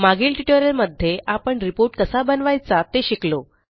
मागील ट्युटोरियलमध्ये आपण रिपोर्ट कसा बनवायचा ते शिकलो